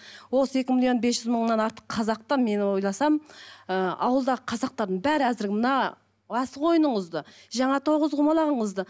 осы екі миллион бес жүз мыңнан артық қазақты мен ойласам ы ауылдағы қазақтардың бәрі әзір мына асық ойыныңызды жаңағы тоғызқұмалағыңызды